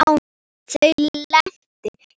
Þau lentu í sjónum.